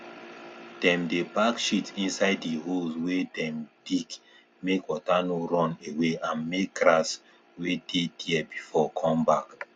dem dey pack shit inside di holes wey dem dig mek water no run away and mek grass wey dey there before come back